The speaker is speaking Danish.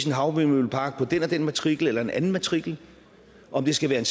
havvindmøllepark på den og den matrikel eller en anden matrikel om den skal være